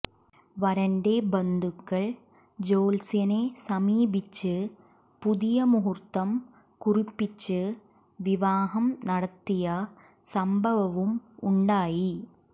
വരന്റെ ബന്ധുക്കൾ ജ്യോത്സ്യനെ സമീപിച്ച് പുതിയ മുഹൂർത്തം കുറിപ്പിച്ച് വിവാഹം നടത്തിയ സംഭവവും ഉണ്ടായി